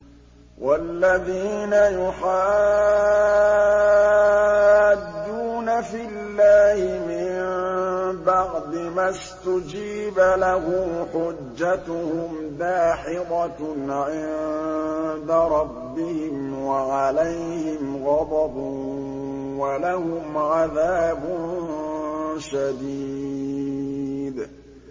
وَالَّذِينَ يُحَاجُّونَ فِي اللَّهِ مِن بَعْدِ مَا اسْتُجِيبَ لَهُ حُجَّتُهُمْ دَاحِضَةٌ عِندَ رَبِّهِمْ وَعَلَيْهِمْ غَضَبٌ وَلَهُمْ عَذَابٌ شَدِيدٌ